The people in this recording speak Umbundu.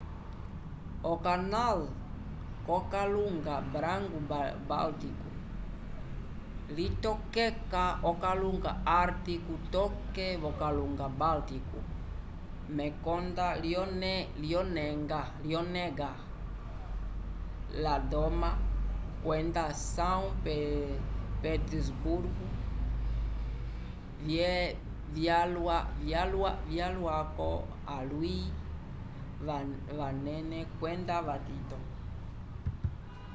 okanal yokalunga branco-báltico litokeka okalunga ártico toke v'okalunga báltico mekonda lyonega ladoga kwenda são petersburgo vyalwako alwi vanene kwenda vitito